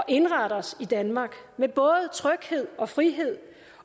indrette os i danmark med både tryghed og frihed